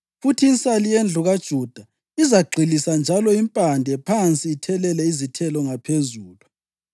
Futhi insali yendlu kaJuda izagxilisa njalo impande phansi ithele izithelo ngaphezulu.